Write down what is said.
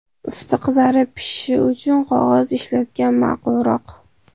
Usti qizarib pishishi uchun qog‘oz ishlatgan ma’qulroq.